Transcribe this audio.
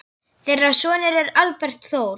Þeirra sonur er Albert Þór.